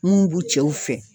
Mun b'u cɛw fɛ.